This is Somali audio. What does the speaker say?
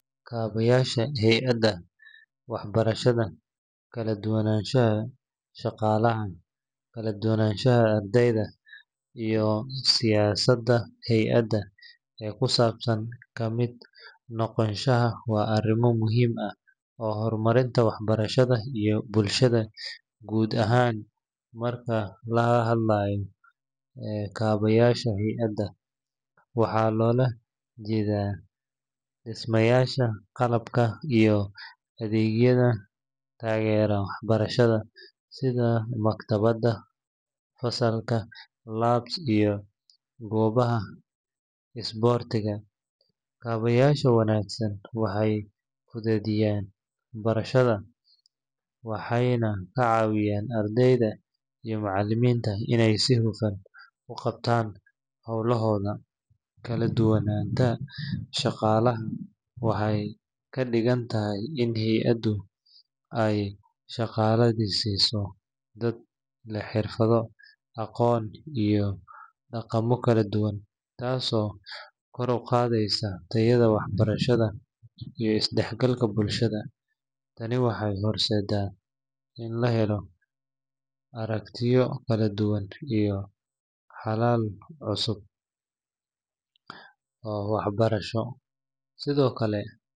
Kaabayaasha hay’adaha waxbarashada, kala-duwanaanta shaqaalaha, kala-duwanaanta ardayda, iyo siyaasadda hay’adda ee ku saabsan ka mid noqoshada waa arrimo muhiim u ah horumarinta waxbarashada iyo bulshada guud ahaan. Marka laga hadlayo kaabayaasha hay’adda, waxaa loola jeedaa dhismayaasha, qalabka, iyo adeegyada taageera waxbarashada sida maktabadaha, fasallada, labs, iyo goobaha isboortiga. Kaabayaasha wanaagsan waxay fududeeyaan barashada, waxayna ka caawiyaan ardayda iyo macallimiinta inay si hufan u qabtaan hawlahooda. Kala-duwanaanta shaqaalaha waxay ka dhigan tahay in hay’addu ay shaqaalaysiiso dad leh xirfado, aqoon, iyo dhaqamo kala duwan, taasoo kor u qaadaysa tayada waxbarashada iyo is-dhexgalka bulshada. Tani waxay horseedaysaa in la helo aragtiyo kala duwan iyo xalal cusub oo waxbarasho. Sidoo kale.